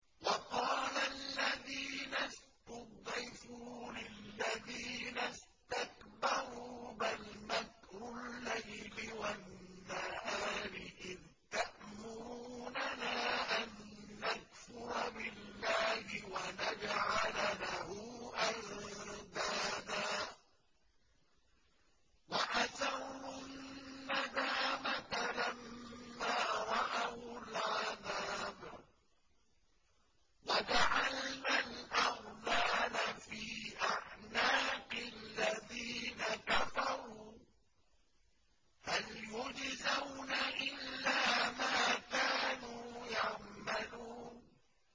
وَقَالَ الَّذِينَ اسْتُضْعِفُوا لِلَّذِينَ اسْتَكْبَرُوا بَلْ مَكْرُ اللَّيْلِ وَالنَّهَارِ إِذْ تَأْمُرُونَنَا أَن نَّكْفُرَ بِاللَّهِ وَنَجْعَلَ لَهُ أَندَادًا ۚ وَأَسَرُّوا النَّدَامَةَ لَمَّا رَأَوُا الْعَذَابَ وَجَعَلْنَا الْأَغْلَالَ فِي أَعْنَاقِ الَّذِينَ كَفَرُوا ۚ هَلْ يُجْزَوْنَ إِلَّا مَا كَانُوا يَعْمَلُونَ